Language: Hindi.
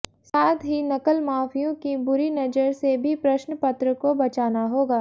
साथ ही नकल माफियाओं की बुरी नजर से भी प्रश्न पत्र को बचाना होगा